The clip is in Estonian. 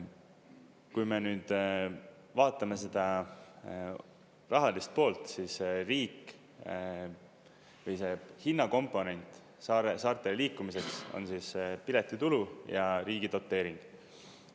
Kui me nüüd vaatame seda rahalist poolt, siis riik või see hinnakomponent saartele liikumiseks on piletitulu ja riigi doteering.